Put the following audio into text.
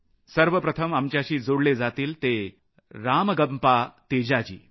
सर्वप्रथम आमच्याशी जोडले जातील ते रामगम्पा तेजा जी